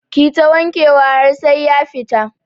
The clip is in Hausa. Kita wanke wa har sai ya fita